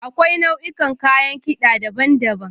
Akwai nau'ikan kayan kida daban-daban.